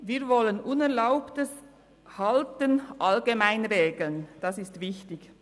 Wir wollen unerlaubtes Halten allgemein regeln, das ist wichtig.